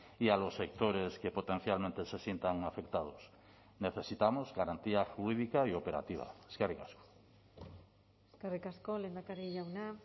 y a los sectores que potencialmente se sientan afectados necesitamos garantía jurídica y operativa eskerrik asko eskerrik asko lehendakari jauna